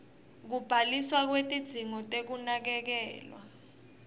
kubhaliswa kwetidzingo tekunakekelwa